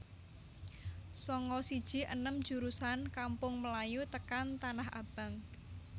Sanga siji enem jurusan Kampung Melayu tekan Tanah Abang